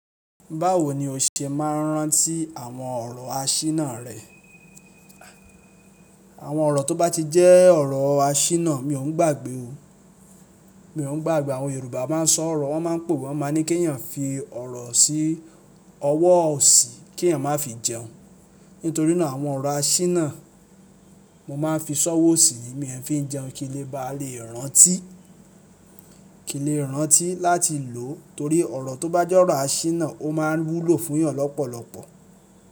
Báwo ni o ṣe máa ń rántí àwọn ọrọ àṣínà rẹ? Àwọn ọ̀rọ̀ tó bá ti jẹ́ ọ̀rọ̀ àṣínà mi ò ún gbàgbé o. Mi ò ún gbàgbé. Àwọn Yorùbá máa ń sọ ọ̀rọ̀, wọ́n máa ń pa òwe, wọ́n máa ń ní kí èèyàn fi ọ̀rọ̀ sí ọwọ́ òsì kí èèyàn máa fi jẹun. Nítorí náà àwọn ọ̀rọ̀ àṣínà mo máa ń fi sọ́wọ́ òsì mi ń fi jẹun kí n lè bá lè rántí, kí n lè rántí láti lò ó. Torí ọ̀rọ̀ tó bá jẹ́ ọ̀rọ̀ àṣínà ó máa ń wúlò fún èèyàn lọ́pọ̀lọpọ̀.